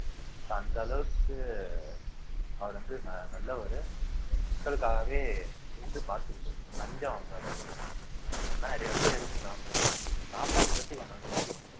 so அந்த அளவுக்கு அவர் வந்து நல்லவரு மக்களுக்காகவே இருந்து பார்த்துக்கிட்டது லஞ்சம் வாங்காதவரு அந்தமாதிரி நிறைய விஷயம் இருக்கு காமராஜர் பத்தி காமராஜர் பத்தி கொஞ்சம் தெரியும்